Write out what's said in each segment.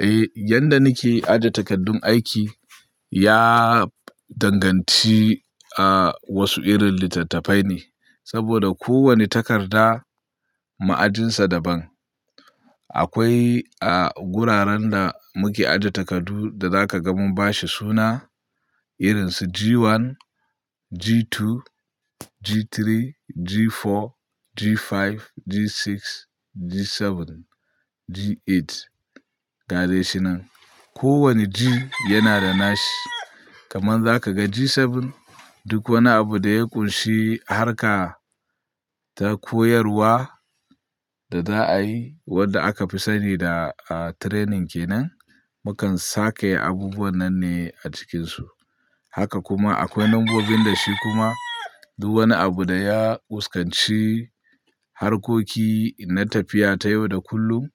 Eh, yadda nike aje takardun aiki ya danganci a wasu irin littattafai ne. Saboda ko wani takarda ma'ajinsa daban. Akwai a guraren da muke aje takardu da zaka ga mun bashi suna irin su G1, G2, G3, G4, G5, G6, G7, G8. Ga dai shi nan. Ko wani G yana da nashi. Kamar za ka ga G7 duk wani abu da ya ƙunshi harka ta koyarwa da za'a yi wanda aka fi sani da a training kenan, mukan sakaya abubuwan nan ne a cikinsu. Haka kuma akwai nambobin da shi kuma duk wani abu da ya fuskanci harkoki na tafiya ta yau da kullum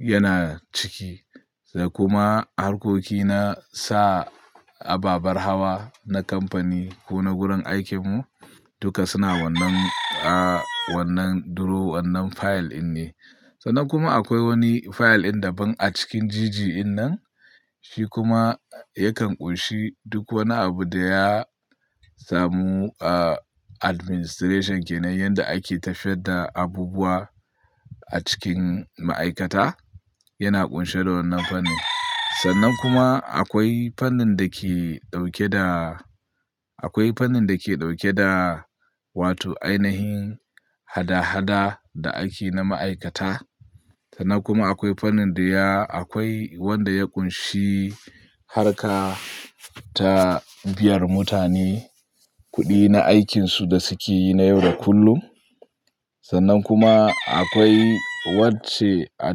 yana ciki. Kuma harkoki na sa ababar hawa na kamfani ko na gurin aikin mu duka suna wannan, a wannan duro, wannan fayil in ne. Sannan kuma akwai wani fayil din daban a cikin GG din nan. Shi kuma yakan ƙunshi duk wani abu da ya samu a administration kenan, yanda ake tafiyar da abubuwa a cikin ma'aikata yana ƙunshe da wannan fannin. Sannan kuma akwai fannin da ke ɗauke da, akwai fannin da ke ɗauke da wato ainihin hada-hada da ake na ma'aikata. Sannan kuma akwai fannin da ya akwai wanda ya ƙunshi harka ta biyan mutane kuɗi na aikinsu da suke yi na yau da kullum. Sannan kuma akwai wacce a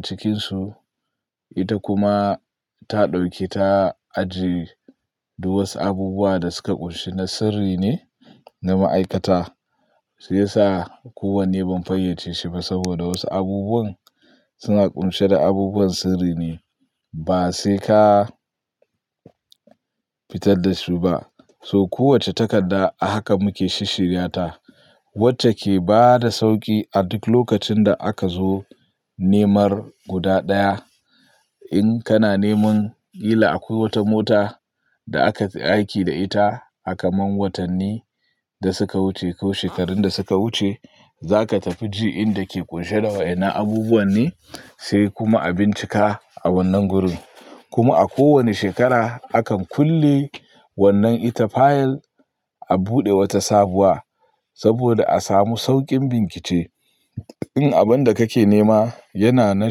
cikinsu ita kuma ta ɗauke ta ajiye duk wasu abubuwa da suka ƙunshi na sirri ne na ma'aikata. Sai sa kowanne ban fayyace shi ba saboda wasu abubuwan suna ƙunshe da abubuwan sirri ne ba sai ka fitar da su ba. So kowacce takarda a haka muke shi shirya ta. Wacce ke bada sauƙi a duk lokacin da aka zo nemar guda ɗaya. In kana neman kila a ko wace mota da aka yi aiki da ita, kamar watanni da suka wuce ko shekarun da suka wuce, za ka tafi G din da ke ƙunshe da wa'innan abubuwan ne, sai kuma a bincika a wannan gurin. Kuma a kowani shekara akan kulle wannan ita fayil a buɗe wata sabuwa saboda a samu sauƙin bincike. In abin da kake nema yana na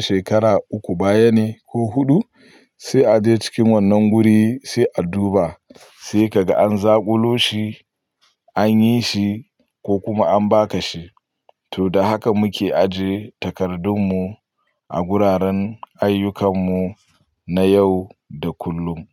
shekara uku baya ne ko huɗu, sai a je cikin wannan guri sai a duba sai ka ga an zakulo shi, an yi shi ko kuma an baka shi. To da haka muke aje takardun mu a guraren ayyukan mu na yau da kullum.